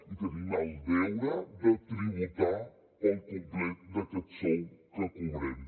i tenim el deure de tributar pel complet d’aquest sou que cobrem